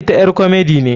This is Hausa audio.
Ita ƴar komedi ne.